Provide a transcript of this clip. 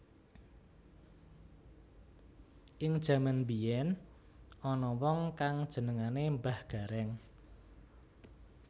Ing jaman mbiyén ana wong kang jenengané Mbah Garéng